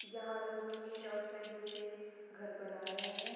यहाँ लोग ईट और सरिये से घर बना रहे हैं |